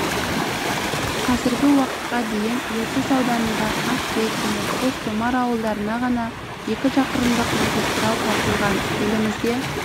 қазіргі уақытқа дейін ертіс ауданында ақбет және қостомар ауылдарына ғана екі шақырымдық магистрал тартылған елімізде